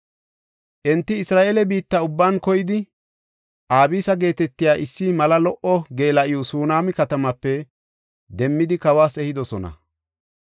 Enti Isra7eele biitta ubban koyidi Abisa geetetiya issi mala lo77o geela7o Sunaama katamaape demmidi, kawas ehidosona.